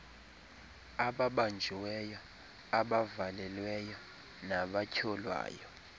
ababanjiweyo abavalelweyo nabatyholwayo